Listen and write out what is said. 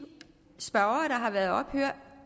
spørgere der har været oppe her